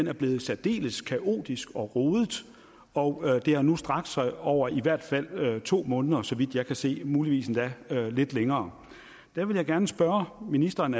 er blevet særdeles kaotisk og rodet og det har nu strakt sig over i hvert fald to måneder så vidt jeg kan se og muligvis endda lidt længere der vil jeg gerne spørge ministeren